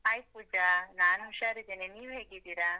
Hai Pooja, ನಾನು ಉಷಾರಿದ್ದೇನೆ. ನೀವು ಹೇಗಿದ್ದೀರಾ?